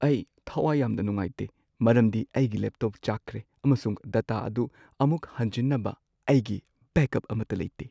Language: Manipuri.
ꯑꯩ ꯊꯋꯥꯢ ꯌꯥꯝꯅ ꯅꯨꯡꯉꯥꯢꯇꯦ ꯃꯔꯝꯗꯤ ꯑꯩꯒꯤ ꯂꯦꯞꯇꯣꯞ ꯆꯥꯛꯈ꯭ꯔꯦ ꯑꯃꯁꯨꯡ ꯗꯇꯥ ꯑꯗꯨ ꯑꯃꯨꯛ ꯍꯟꯖꯤꯟꯅꯕ ꯑꯩꯒꯤ ꯕꯦꯛꯑꯞ ꯑꯃꯠꯇ ꯂꯩꯇꯦ꯫